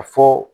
A fɔ